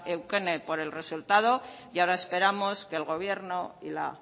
eukene por el resultado y ahora esperamos que el gobierno y la